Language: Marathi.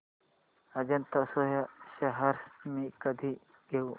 अजंता सोया शेअर्स मी कधी घेऊ